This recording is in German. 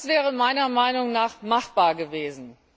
Das wäre meiner Meinung nach machbar gewesen.